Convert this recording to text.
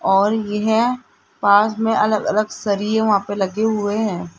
और यह पास में अलग अलग सरिए वहां पे लगे हुए हैं।